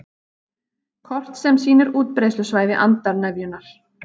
Kort sem sýnir útbreiðslusvæði andarnefjunnar